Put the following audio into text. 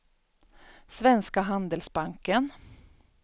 Svenska Handelsbanken